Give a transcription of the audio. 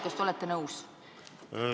Kas te olete nõus?